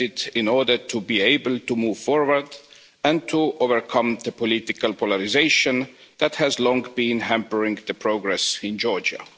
in order to be able to move forward and to overcome the political polarisation that has long been hampering progress in Georgia.